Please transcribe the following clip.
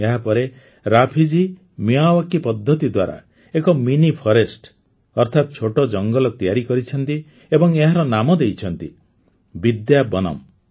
ଏହା ପରେ ରାଫି ଜୀ ମିୟାୱାକି ପଦ୍ଧତି ଦ୍ୱାରା ଏକ ମିନି ଫରେଷ୍ଟ୍ ଅର୍ଥାତ ଛୋଟ ଜଙ୍ଗଲ ତିଆରି କରିଛନ୍ତି ଏବଂ ଏହାର ନାମ ଦେଇଛନ୍ତି ବିଦ୍ୟା ବନମ୍